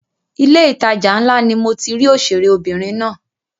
Ilé ìtajà ńlá ni mo ti rí òṣèré obìnrin náà.